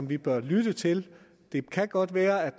vi bør lytte til det kan godt være at